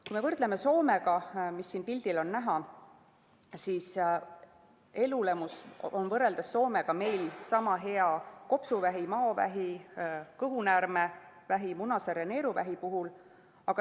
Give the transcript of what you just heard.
Kui me võrdleme Soomega, siis elulemus on võrreldes Soomega meil sama hea kopsuvähi, maovähi, kõhunäärmevähi, munasarjavähi ja neeruvähi puhul.